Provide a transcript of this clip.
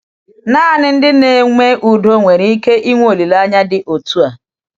Naanị ndị na-eme udo nwere ike ịnwe olileanya dị otu a.